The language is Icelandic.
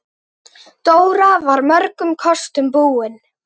Dóra var mörgum kostum búin.